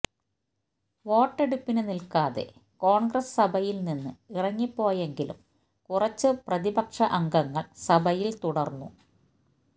വോട്ടെടുപ്പിന് നില്ക്കാതെ കോണ്ഗ്രസ് സഭയില്നിന്ന് ഇറങ്ങിപ്പോയെങ്കിലും കുറച്ച് പ്രതിപക്ഷ അംഗങ്ങള് സഭയില് തുടര്ന്നു